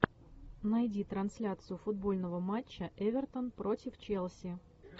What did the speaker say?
найди трансляцию футбольного матча эвертон против челси